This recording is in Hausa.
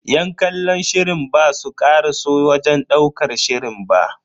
Yan kallon shirin basu karaso wajen ɗaukar shirin ba.